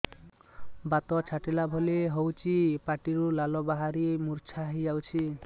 ବାତ ଛାଟିଲା ଭଳି ହଉଚି ପାଟିରୁ ଲାଳ ବାହାରି ମୁର୍ଚ୍ଛା ହେଇଯାଉଛି